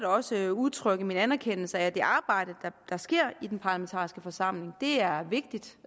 også udtrykke min anerkendelse af det arbejde der sker i den parlamentariske forsamling det er vigtigt